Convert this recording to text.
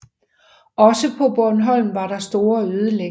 Også på Bornholm var der store ødelæggelser